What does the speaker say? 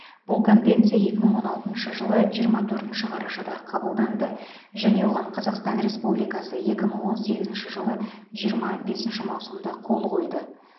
бұл конвенция екі мың он алтыншы жылы жиырма төртінші қарашада қабылданды және оған қазақстан республикасы екі мың он сегізінші жылы жиырма бесінші маусымда қол қойды